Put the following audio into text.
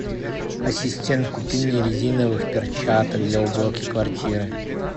ассистент купи мне резиновых перчаток для уборки квартиры